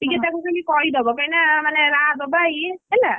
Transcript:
ଟିକେ ତାକୁ ଖାଲି କହିଦବ କାହିଁକି ନା ମାନେ ରାହା ଦବା ଇଏ ହେଲା,